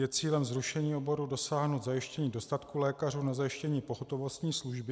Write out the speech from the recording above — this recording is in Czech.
Je cílem zrušení oboru dosáhnout zajištění dostatku lékařů na zajištění pohotovostní služby?